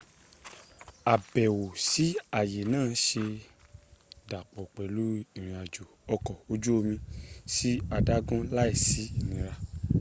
àbẹ̀wò sí ààyè náà se é dàpọ̀ pẹ̀lú ìrìn-àjò ọkọ̀ ojú omi sí adágún láì sí ìnira